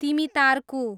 तिमितार्कु